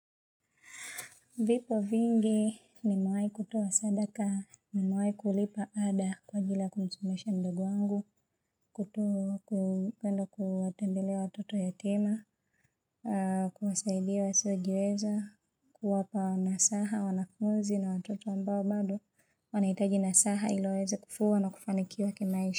Vipo vingi nimewahi kutoa sadaka nimewahi kulipa ada kwa ajili ya kumsomesha mdogo angu, kutowa kupenda kuwatembelea watoto yatima, kuwasaidia wasio jiweza, kuwapa nasaha wanafunzi na watoto ambao bado wanahitaji nasaha iliwaweze kukua na kufanikiwa kemaisha.